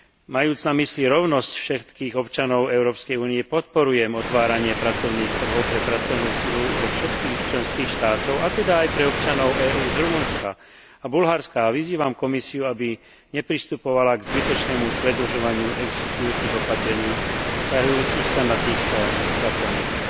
Majúc na mysli rovnosť všetkých občanov Európskej únie podporujem otváranie pracovných trhov pre pracovnú silu zo všetkých členských štátov, a teda aj pre občanov EÚ z Rumunska a z Bulharska, a vyzývam Komisiu, aby nepristupovala k zbytočnému predlžovaniu existujúcich opatrení vzťahujúcich sa na týchto pracovníkov.